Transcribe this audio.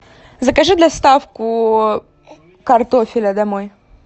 закажи доставку картофеля домой